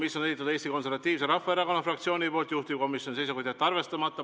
Selle on esitanud Eesti Konservatiivse Rahvaerakonna fraktsioon, juhtivkomisjoni seisukoht on jätta see arvestamata.